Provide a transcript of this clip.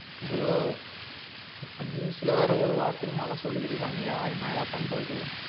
bro இப்ப news ல வேற ஒரு வாரத்துக்கு மழை சொல்லிகிருகாங்கயா, என்னையா பண்றது?